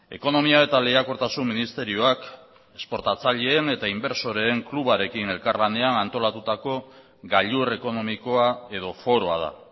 ekonomia eta lehiakortasun ministerioak exportatzaileen eta inbertsoreen klubarekin elkarlanean antolatutako gailur ekonomikoa edo foroa da